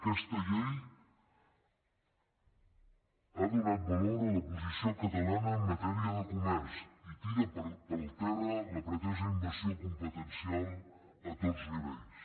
aquesta llei ha donat valor a la posició catalana en matèria de comerç i tira pel terra la pretesa invasió competencial a tots nivells